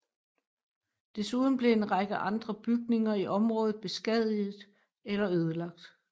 Desuden blev en række andre bygninger i området beskadiget eller ødelagt